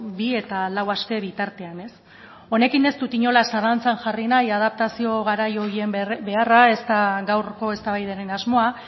bi eta lau aste bitartean honekin ez dut inolaz zalantzan jarri nahi adaptazio garai horien beharra ez da gaurko eztabaidaren asmoa